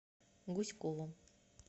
гуськову